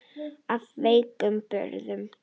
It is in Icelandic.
Af veikum burðum.